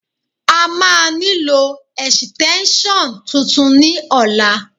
A máa nílò ẹ̀sìtẹ́ńṣọ̀n tuntun ní ọ̀la